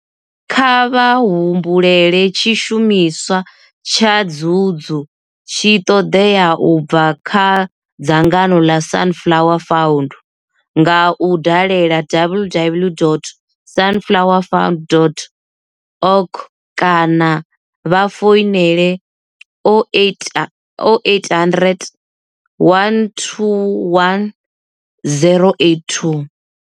Kha vha humbele tshishumiswa tsha dzudzu tshi ṱoḓea u bva kha dzangano ḽa Sunflower Fund nga u dalela www.sunflowerfund.org kana vha founele 0800 121 082.